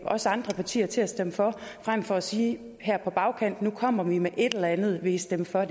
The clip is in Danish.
os andre partier til at stemme for frem for at sige her på bagkant nu kommer vi med et eller andet vil i stemme for